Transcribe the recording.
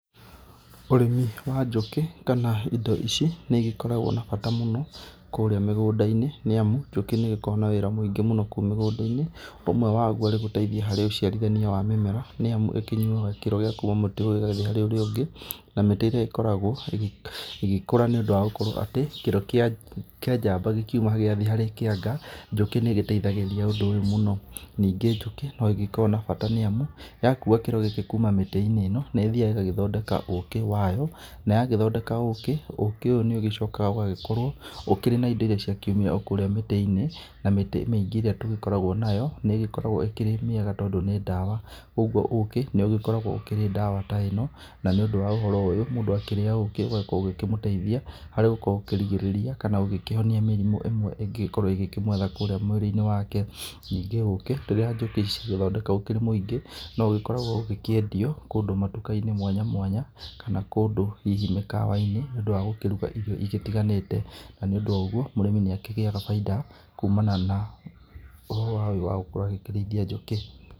Ũrĩmi wa njũkĩ kana indo ici nĩ ũgĩkoragwo na bata mũno kũrĩa mĩgũnda-inĩ nĩ amu njũkĩ nĩ ĩgĩkoragwo na wĩra mũingĩ mũno kũrĩa mũgũnda-inĩ. Ũmwe waguo arĩ gũteithia ũciarithania wa mĩmera nĩ amu ĩkĩnyuaga kĩro gĩa kuma mũtĩ ũyũ ĩgathiĩ harĩ ũria ũngĩ, na mĩtĩ ĩrĩa ĩkoragwo ĩgĩkũra nĩ ũndũ wa gũkorwo atĩ kĩró kĩa njamba gĩkĩuma gĩgathiĩ harĩ kĩanga, njũkĩ nĩ ĩgĩteithagĩrĩria ũndũ ũyũ mũno. Na ningĩ njũkĩ no ĩgĩkoragwo na bata nĩ amu yakua kĩro gĩkĩ kuma miti-inĩ ĩno nĩ ĩthiaga ĩgagĩthondeka ũkĩ wayo na, yagĩthondeka ũkĩ ũkĩ ũyũ nĩ ũgĩcokaga ũgagĩkorwo ũkĩrĩ na indo iria ciakiumĩra o kũrĩa mĩti-inĩ. Na mĩtĩ mĩingĩ ĩrĩa tũgĩkoragwo nayo nĩ ĩgĩkoragwo ĩkĩrĩ mĩega tondũ nĩ ndawa. Ũguo ũkĩ nĩ ũgĩkoragwo ũkĩrĩ ndawa ta ĩno na nĩ ũndũ wa ũhoro ũyũ mũndu akĩrĩa ũkĩ ũgakorwo ũkĩmũteithia harĩ gũkorwo ũkirigĩrĩria kana ũkĩhonia mĩrimũ ĩmwe ĩngĩgĩkorwo ikĩmwetha kũrĩa mwĩrĩ-inĩ wake. Nĩngĩ ũkĩ rĩrĩa njũkĩ ici ciathondeka ũkĩrĩ mũingĩ no ũgĩkoragwo ũkĩendio kũndũ matuka-inĩ mwanya mwanya kana kũndũ hihi mĩkawa-inĩ nĩ ũndũ wagũkĩruga ĩrio igĩtiganĩte. Na nĩ ũndũ wa ũguo mũrĩmi nĩ akigĩaga bainda kumana na ũhoro ũyũ wa gũkorwo agĩkĩrĩithia njũkĩ.